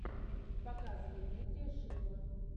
показывай дмитрия шилова